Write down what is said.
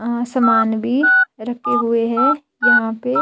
आसमान भी रखे हुए हैं यहां पे--